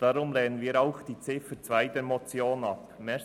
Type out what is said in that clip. Deshalb lehnen wir auch die Ziffer 2 der Motion ab.